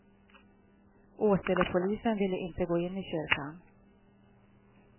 Åselepolisen ville inte gå in i kyrkan.